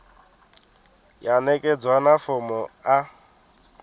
ya ṋekedzwa na fomo a